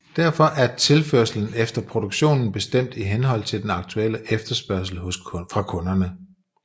Derfor er tilførslen eller produktionen bestemt i henhold til den aktuelle efterspørgsel fra kunderne